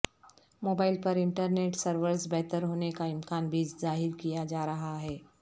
mobile پر internet services بہتر ہونے کا امکان بھی ظاہر کیا جا رہا ہے